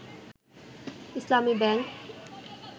Islami bank